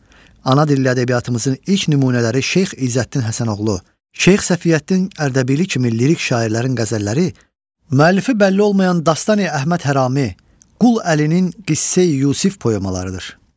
Ana dilli ədəbiyyatımızın ilk nümunələri Şeyx İzzəddin Həsənoğlu, Şeyx Səfiyyətdin Ərdəbili kimi lirik şairlərin qəzəlləri, müəllifi bəlli olmayan Dastani Əhməd Hərami, Qul Əlinin Qissə-i Yusif poemalarıdır.